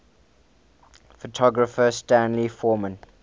photographer stanley forman